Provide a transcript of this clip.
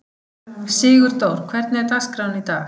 Sigurdór, hvernig er dagskráin í dag?